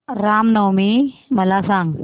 राम नवमी मला सांग